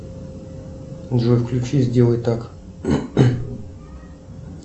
джой включи сделай так